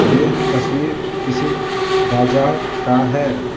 ये तस्वीर किसी बाजार का है।